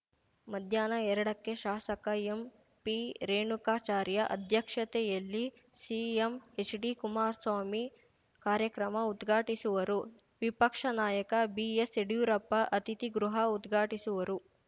ಮಧ್ಯಾಹ್ನ ಎರಡಕ್ಕೆ ಶಾಸಕ ಎಂಪಿರೇಣುಕಾಚಾರ್ಯ ಅಧ್ಯಕ್ಷತೆಯಲ್ಲಿ ಸಿಎಂ ಎಚ್‌ಡಿ ಕುಮಾರಸ್ವಾಮಿ ಕಾರ್ಯಕ್ರಮ ಉದ್ಘಾಟಿಸುವರು ವಿಪಕ್ಷ ನಾಯಕ ಬಿಎಸ್‌ಯಡಿಯೂರಪ್ಪ ಅತಿಥಿ ಗೃಹ ಉದ್ಘಾಟಿಸುವರು